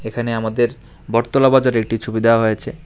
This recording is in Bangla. এখানে আমাদের বটতলা বাজারের একটি ছবি দেওয়া হয়েছে।